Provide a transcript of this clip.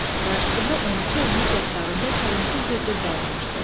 Qarşısında 12-13 yaşlarında çəlimsiz bir qız dayanmışdı.